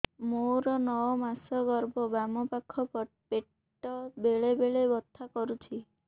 ମୋର ନଅ ମାସ ଗର୍ଭ ବାମ ପାଖ ପେଟ ବେଳେ ବେଳେ ବଥା କରୁଛି